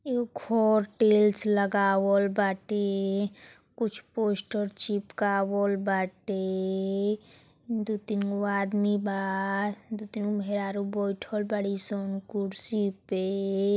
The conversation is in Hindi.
देखो टाइल्स लगावल बाटे कुछ पोस्टर चिपकावल बाटे दुह तीन गो आदमी बा दु तीन मेहरारू बैठल बड़ी सन कुर्सी पे।